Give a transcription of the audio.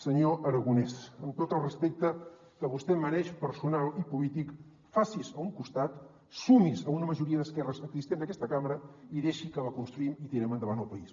senyor aragonès amb tot el respecte que vostè em mereix personal i polític faci’s a un costat sumi’s a una majoria d’esquerres existent en aquesta cambra i deixi que construïm i tirem endavant el país